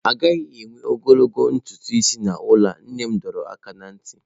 A gaghị ewe ogologo ntutu isi n'ụlọ a! Nne m dọrọ aka ná ntị.